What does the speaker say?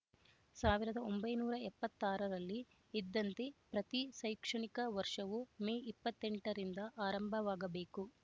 ಸಾವಿರದ ಒಂಬೈನೂರ ಎಪ್ಪತ್ತ್ ಆರ ರಲ್ಲಿ ಇದ್ದಂತೆ ಪ್ರತಿ ಶೈಕ್ಷಣಿಕ ವರ್ಷವೂ ಮೇ ಇಪ್ಪತ್ತ್ ಎಂಟರಿಂದ ಆರಂಭವಾಗಬೇಕು